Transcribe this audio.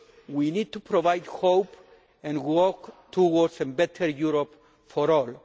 We need to provide hope, and to work towards a better Europe for all.